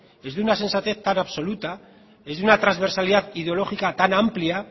es de una sensatez tan absoluta es de una transversalidad ideológica tan amplia